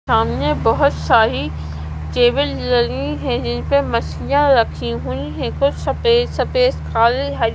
सामने बहोत सारी टेबल लगी हैं जिनपे मछलियां रखी हुईं हैं कुछ सफेद सफेद खाली--